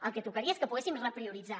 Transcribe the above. el que tocaria és que poguéssim reprioritzar